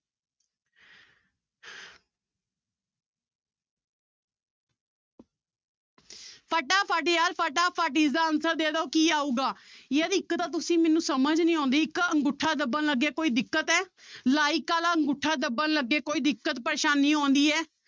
ਫਟਾਫਟ ਯਾਰ ਫਟਾਫਟ ਇਸਦਾ answer ਦੇ ਦਓ ਕੀ ਆਊਗਾ, ਯਾਰ ਇੱਕ ਤਾਂ ਤੁਸੀਂ ਮੈਨੂੰ ਸਮਝ ਨੀ ਆਉਂਦੀ ਇੱਕ ਅੰਗੂਠਾ ਦੱਬਣ ਲੱਗੇ ਕੋਈ ਦਿੱਕਤ ਹੈ like ਵਾਲਾ ਅੰਗੂਠਾ ਦੱਬਣ ਲੱਗੇ ਕੋਈ ਦਿੱਕਤ ਪਰੇਸਾਨੀ ਆਉਂਦੀ ਹੈ